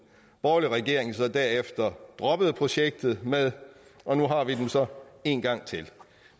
borgerlige regering så derefter droppede projektet med og nu har vi dem så en gang til